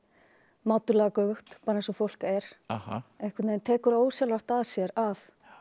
mátulega göfugt bara eins og fólk er einhvern veginn tekur ósjálfrátt að sér að